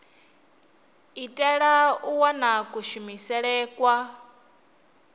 itela u wana kushumele kwa